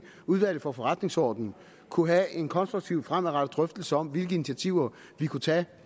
udvalget for forretningsordenen kunne have en konstruktiv og fremadrettet drøftelse om hvilke initiativer vi kunne tage